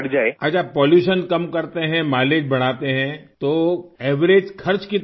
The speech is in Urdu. اچھا آلودگی کم کرتے ہیں، مائی لیج بڑھاتے ہیں تو اوسط خرچ کتنا بچتا ہوگا؟